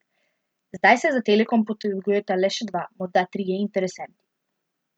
Zdaj se za Telekom potegujeta le še dva, morda trije interesenti.